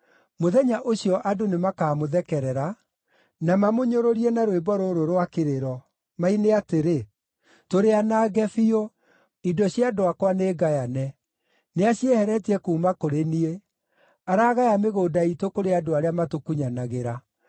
Mũthenya ũcio andũ nĩmakamũthekerera; na mamũnyũrũrie na rwĩmbo rũrũ rwa kĩrĩro, maine atĩrĩ, ‘Tũrĩ anange biũ; indo cia andũ akwa nĩngayane. Nĩacieheretie kuuma kũrĩ niĩ! Aragaya mĩgũnda iitũ kũrĩ andũ arĩa matũkunyanagĩra.’ ”